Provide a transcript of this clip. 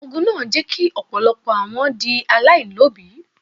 Ogun náà jẹ́ kí ọ̀pọ̀lọpọ̀ àwọn di aláìní òbí.